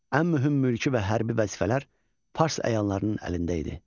Ən mühüm mülki və hərbi vəzifələr fars əyyanlarının əlində idi.